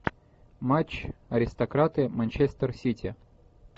матч аристократы манчестер сити